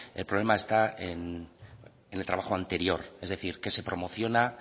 el problema está en el trabajo anterior es decir qué se promociona